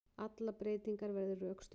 Allar breytingar verði rökstuddar